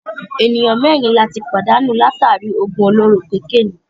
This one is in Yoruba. Ènìyàn mẹ́rin ni a tí pàdánù látàri í òògùn olóró kokénìí.